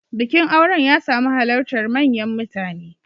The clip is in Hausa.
Bikin auren ya samu halartar manyan mutane.